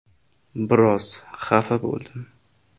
Biroz xafa bo‘ldim.